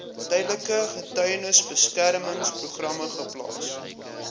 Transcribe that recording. tydelike getuiebeskermingsprogram geplaas